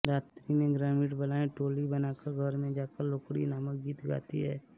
रात्रि में ग्रामीण बालाएं टोली बनाकर घर में जाकर लोकड़ी नामक गीत गाती हैं